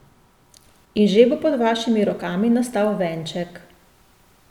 In že bo pod vašimi rokami nastal venček.